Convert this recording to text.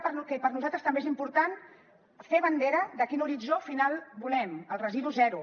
perquè per nosaltres també és important fer bandera de quin horitzó final volem el residu zero